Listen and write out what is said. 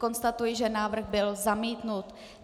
Konstatuji, že návrh byl zamítnut.